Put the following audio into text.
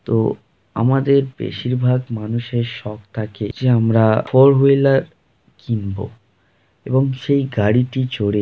তো আমাদের বেশিরভাগ মানুষের শখ থাকে যে আমরা ফোর হুইলার কিনব এবং সেই গাড়িটি চড়ে।